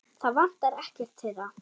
Það vantar ekkert þeirra.